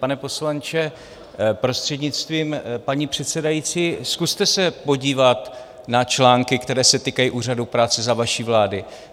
Pane poslanče, prostřednictvím paní předsedající, zkuste se podívat na články, které se týkají úřadů práce za vaší vlády.